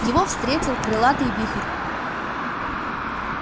его встретил крылатый вихрь